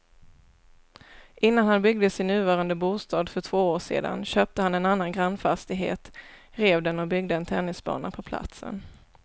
Innan han byggde sin nuvarande bostad för två år sedan köpte han en annan grannfastighet, rev den och byggde en tennisbana på platsen.